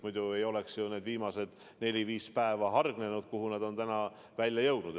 Muidu ei oleks ju sündmused nende viimase nelja-viie päeva jooksul arenenud sinnamaani, kuhu nad on tänaseks välja jõudnud.